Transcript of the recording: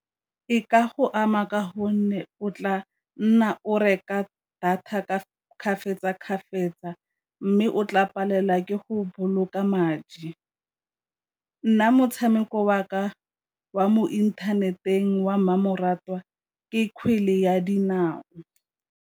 E ka go ama ka gonne o tla nna o reka data ka , mme o tla palelwa ke go boloka madi. Nna motshameko wa ka wa mo inthaneteng wa mmamoratwa ke kgwele ya dinao.